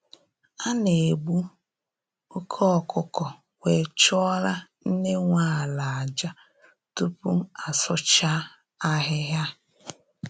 A na egbu oke ọkụkọ were chụọrọ nne nwe ala aja, tupu asụcha ahịhịa